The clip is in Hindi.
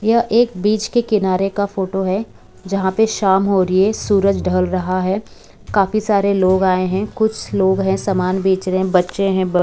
यह एक बीच के किनारे का फोटो है जहाँ पर शाम हो रही है सूरज ढल रहा है काफी सारे लोग आए हैं कुछ लोग हैं समान बेच रहे हैं बच्चे हैं ब --